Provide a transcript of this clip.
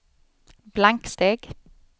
blanksteg